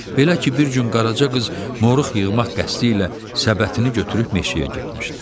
Belə ki, bir gün Qaraca qız moruq yığmaq qəsdi ilə səbətini götürüb meşəyə getmişdi.